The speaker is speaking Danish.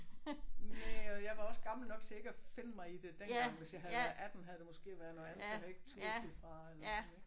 Næh og jeg var også gammel nok til ikke at finde mig i det dengang. Hvis jeg havde været 18 havde det måske været noget andet så havde jeg ikke turdet at sige fra eller sådan ik?